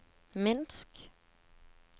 Minsk